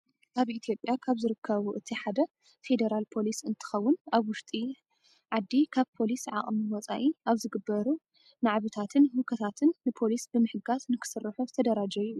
ኣብ ኢትዮጵያ ካብ ዝርከቡ እቲ ሓደ ፌደራል ፖሊስ እንትኸውን ኣብ ውሽጢ ኣዲ ካብ ፖሊስ ዓቅሚ ወፃኢ ኣብ ዝግበሩ ናዕብታትን ህውከታታት ንፖሊስ ብምህጋዝ ንክሰርሑ ዝተደራጀዩ እዩም።